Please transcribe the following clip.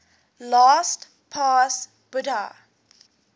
little past bahia